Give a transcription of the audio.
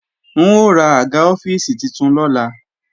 N ó ra àga ọ́fíìsì titun lọ́la